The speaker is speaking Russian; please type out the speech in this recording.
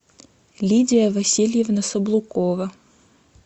лидия васильевна саблукова